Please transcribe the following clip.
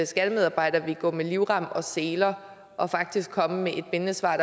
skattemedarbejderne ville gå med livrem og seler og faktisk komme med et bindende svar